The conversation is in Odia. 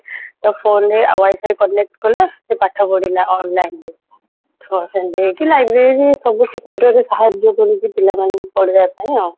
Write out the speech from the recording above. ତା phone ରେ ଆଉ wifi connect କଲା ସେ ପାଠ ପଢିଲା online ରେ ତ ସେମିତି ହେଇକି library ସବୁ କ୍ଷେତ୍ରରେ ସାହାଯ୍ୟ କରୁଛି ପିଲାମାନଙ୍କୁ ପଢିବା ପାଇଁ ଆଉ